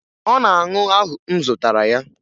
Ọ ga-aṅụ ahụ m zụtara ya